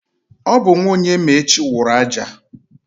Ọ bụ nwa Onyemaechi wụrụ aja.